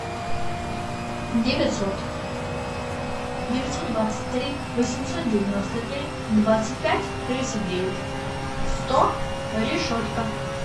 девятьсот девятьсот двадцать три восемьсот девяносто три двадцать пять тридцать девять сто решетка